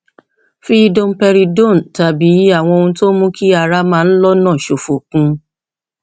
fi domperidone tàbí àwọn ohun tó ń mú kí ara máa ń lọnà ṣòfò kún un